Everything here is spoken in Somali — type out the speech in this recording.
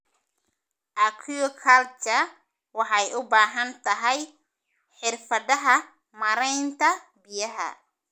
Aquaculture waxay u baahan tahay xirfadaha maaraynta biyaha.